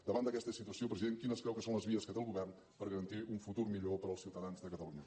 davant d’aquesta situació president quines creu que són les vies que té el govern per garantir un futur millor per als ciutadans de catalunya